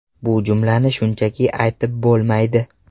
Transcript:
Bu jumlani shunchaki aytib bo‘lmaydi.